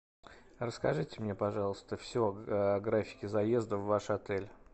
расскажите мне пожалуйста все о графике заезда в ваш отель